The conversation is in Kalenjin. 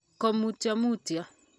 ko mutyo mutyo